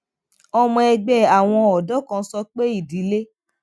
ọmọ ẹgbẹ àwọn ọdọ kan sọ pé ìdílé